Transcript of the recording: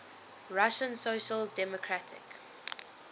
russian social democratic